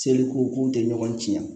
Seli ko k'u tɛ ɲɔgɔn ciɲɛn yan